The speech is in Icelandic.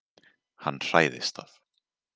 Hann hræðist það.